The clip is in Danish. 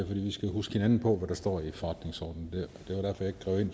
vi skal huske hinanden på hvad der står i forretningsordenen